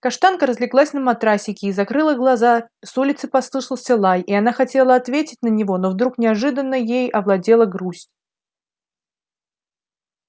каштанка разлеглась на матрасике и закрыла глаза с улицы послышался лай и она хотела ответить на него но вдруг неожиданно ею овладела грусть